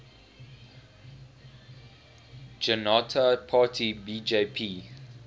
janata party bjp